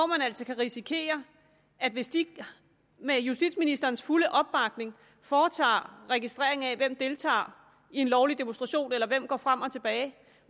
man altså risikere at hvis de med justitsministerens fulde opbakning foretager registrering af hvem der deltager i en lovlig demonstration eller hvem der går frem og tilbage